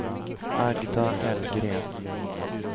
Agda Hellgren